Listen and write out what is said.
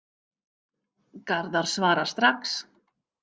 Garðar svarar strax.